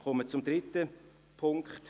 Ich komme zum dritten Punkt: